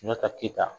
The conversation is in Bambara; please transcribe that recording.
Sunjata keyita